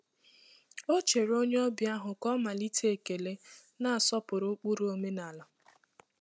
Ọ chere onye ọbịa ahụ ka ọ malite ekele, na-asọpụrụ ụkpụrụ omenala.